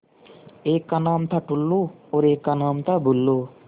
एक का नाम था टुल्लु और एक का नाम था बुल्लु